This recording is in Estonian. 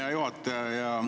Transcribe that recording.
Hea juhataja!